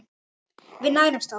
Við nærumst á þessu.